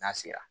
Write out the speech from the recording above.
N'a sera